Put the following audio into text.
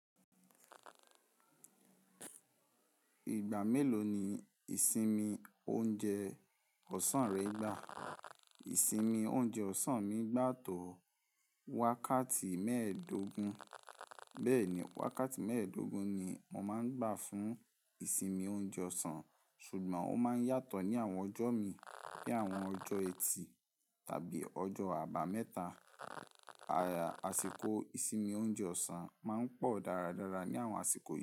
Ìgbà mélòó ni ìsinmi oúnjẹ ọ̀sán rẹ ń gbà? Ìsinmi oúnjẹ ọ̀sán mi gbà tó wákàtí mẹ́ẹ̀ẹ́dógún, bẹ́ẹ̀ni wákàtí mẹ́ẹ̀ẹ́dógún ni màá ń gbà fún ìsinmi oúnjẹ ọ̀sán ṣùgbọ́n ó máa ń yàtọ̀ ní àwọn ọjọ́ mi bíi àwọn ọjọ́ ẹtì tàbí ọjọ́ àbámẹ́ta. Àyà-- àsìkò ìsinmi oúnjẹ ọ̀sán máa ń pọ̀ dáradára ní àwọn àsìkò yìí.